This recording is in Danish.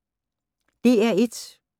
DR1